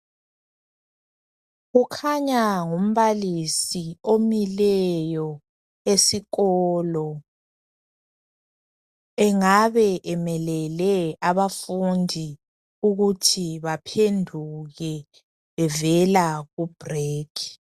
Kukhanya ngumbalisi omileyo esikolo engabe emelele abafundi ukuthi baphenduke bevela ku break